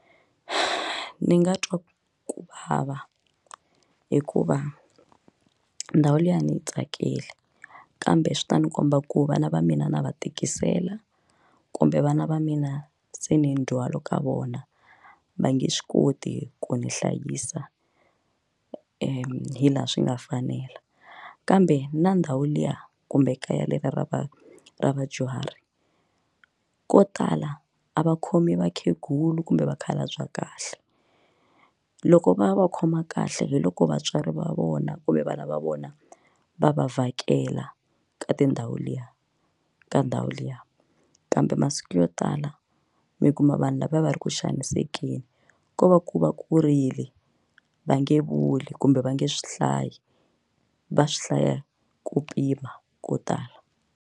Ni nga twa ku vava hikuva ndhawu liya a ni yi tsakeli kambe swi ta ni komba ku vana va mina na va tikisela kumbe vana va mina se ni ndzwalo ka vona va nge swi koti ku nihlayisa hi laha swi nga fanela kambe na ndhawu liya kumbe ekaya leriya ra va ra vadyuhari ko tala a va khomi vakhegulu kumbe vakhalabya kahle loko va va khoma kahle hi loko vatswari va vona kumbe vana va vona va va vhakela ka tindhawu liya ka ndhawu liya kambe masiku yo tala mi kuma vanhu lavaya va ri ku xanisekeni ko va ku va kurile va nge vuli kumbe va nge swi hlayi va swihlaya ku pima ko tala.